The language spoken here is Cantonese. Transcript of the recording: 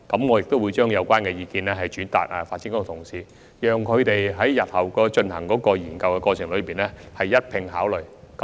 我亦會將有關意見轉達發展局的同事，以便他們在日後的研究過程中一併考慮。